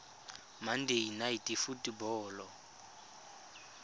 monday night football